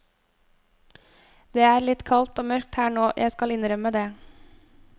Det er litt kaldt og mørkt her nå, jeg skal innrømme det.